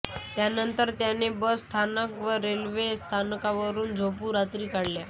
त्यानंतर त्यांनी बस स्थानक व रेल्वे स्थानकावर झोपून रात्री काढल्या